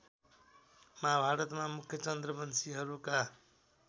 महाभारतमा मुख्यत चन्द्रवंशिहरूका